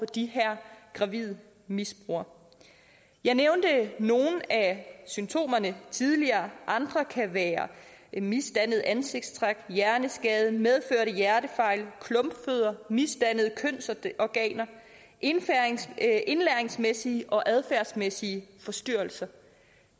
de her gravide misbrugere jeg nævnte nogle af symptomerne tidligere andre kan være misdannede ansigtstræk hjerneskade medfødte hjertefejl klumpfødder misdannede kønsorganer indlæringsmæssige indlæringsmæssige og adfærdsmæssige forstyrrelser